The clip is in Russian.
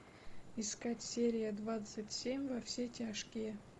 искать серия двадцать семь во все тяжкие